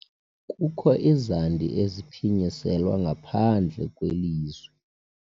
Kukho izandi eziphinyiselwa ngaphandle kwelizwi.